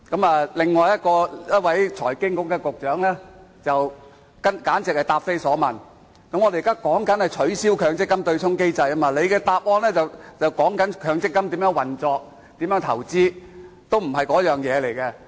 財經事務及庫務局局長簡直是答非所問，我們討論的是取消強積金對沖機制，但他作答時卻談論強積金如何運作和投資，完全不是那回事。